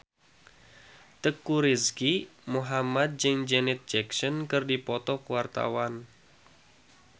Teuku Rizky Muhammad jeung Janet Jackson keur dipoto ku wartawan